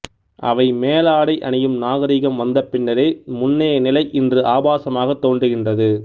அவை மேலாடை அணியும் நாகரிகம் வந்த பின்னரே முன்னைய நிலை இன்று ஆபாசமாகத் தோன்றுகின்றது